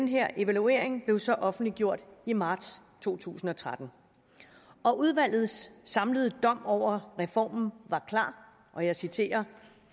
her evaluering blev så offentliggjort i marts to tusind og tretten udvalgets samlede dom over reformen var klar og jeg citerer